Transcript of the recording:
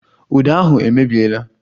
Uda ahụ emebiela